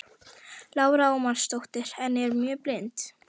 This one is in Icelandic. Lára Ómarsdóttir: En er mjög blint?